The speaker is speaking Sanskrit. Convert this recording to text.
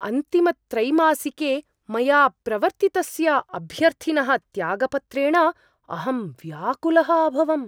अन्तिमत्रैमासिके, मया प्रवर्त्तितस्य अभ्यर्थिनः त्यागपत्रेण अहं व्याकुलः अभवम्।